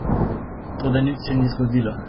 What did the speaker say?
Toda nič se ni zgodilo.